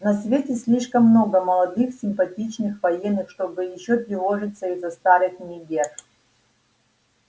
на свете слишком много молодых симпатичных военных чтобы ещё тревожиться из-за старых мегер